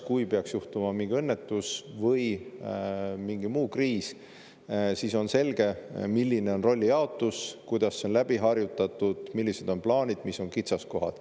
Kui peaks juhtuma mingi õnnetus või tekib mingi muu kriis, siis on selge, milline on rollijaotus, kuidas see on läbi harjutatud, millised on plaanid, mis on kitsaskohad.